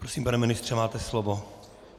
Prosím, pane ministře, máte slovo.